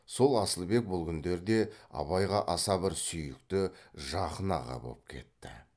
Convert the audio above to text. сол асылбек бұл күндерде абайға аса бір сүйікті жақын аға боп кетті